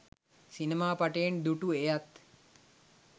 සිනමා පටයෙන් දු‍ටු! එයත්